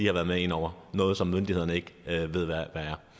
har været med ind over noget som myndighederne ikke ved hvad